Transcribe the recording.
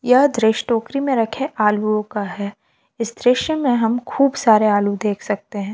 यह दृश्य टोकरी मे रखे आलुओं का है इस दृश्य में हम खूब सारे आलू देख सकते हैं।